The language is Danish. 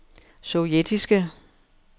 sovjetiske